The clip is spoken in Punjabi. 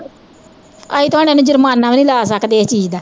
ਅਸੀਂ ਤੇ ਹੁਣ ਇਹਨੂੰ ਜੁਰਮਾਨਾ ਵੀ ਨੀ ਲਾ ਸਕਦੇ ਏਸ ਚੀਜ਼ ਡ